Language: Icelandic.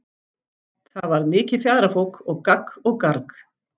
Það varð mikið fjaðrafok og gagg og garg.